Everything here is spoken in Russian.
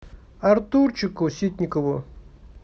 артурчику ситникову